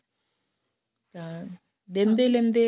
ਦਿੰਦੇ ਲੈਂਦੇ